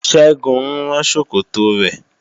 Ṣẹ́gun ń rán ṣòkòtò rẹ̀